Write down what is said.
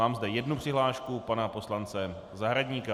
Mám zde jednu přihlášku pana poslance Zahradníka.